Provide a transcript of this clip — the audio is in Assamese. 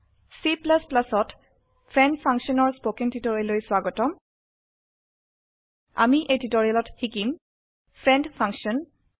C ত ফ্ৰেণ্ড ফাংছন ৰ স্পকেন টিউটোৰিয়েললৈ স্বাগতম আমি এই টিউটোৰিয়েলত শিকিম ফ্ৰেণ্ড ফাংচন